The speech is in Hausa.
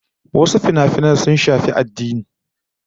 Wasu finafinan sun shafi addini